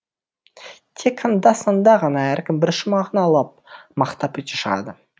тек анда санда ғана әркім бір шумағын алып мақтап өте шығады